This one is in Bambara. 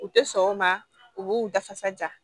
U tɛ sɔn o ma u b'u dafasa ja